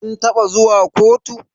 Kin taba zuwa kotu?